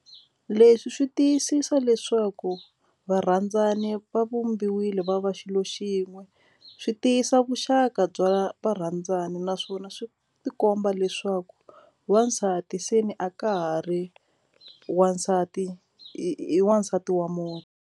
Leswi swi tiyisisa leswaku varhandzani va vumbiwile va va xilo xin'we swi tiyisa vuxaka bya varhandzani naswona swi tikomba leswaku wasati se ni a ka ha ri wasati i i wasati wa .